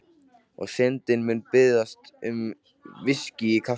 Og Syndin mun biðja um VISKÍ í kaffið.